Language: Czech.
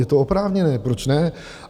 Je to oprávněné, proč ne?